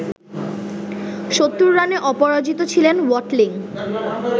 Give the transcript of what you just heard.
৭০ রানে অপরাজিত ছিলেন ওয়াটলিং